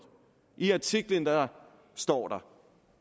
i artiklen står der